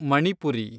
Manipuri